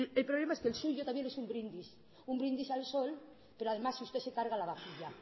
pero el problema es que el suyo también es un brindis un brindis al sol pero además usted se carga la vajilla